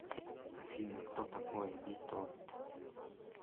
афина кто такой витовт